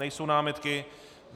Nejsou námitky?